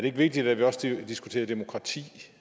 det ikke vigtigt at vi også diskuterer demokrati